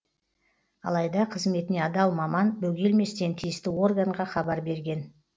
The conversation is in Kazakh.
алайда қызметіне адал маман бөгелместен тиісті органға хабар берген